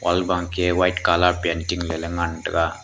albaangke white colour painting mailey ngantega.